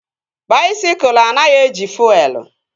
Baisikụl anaghị eji fuelu